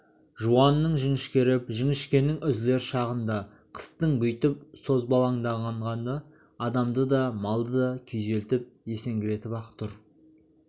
жуанның жіңішкеріп жіңішкенің үзілер шағында қыстың бүйтіп созбалаңданғаны адамды да малды да күйзелтіп есеңгіретіп-ақ тұр